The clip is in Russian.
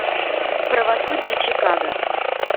правосудие чикаго